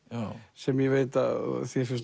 sem ég veit að þér finnst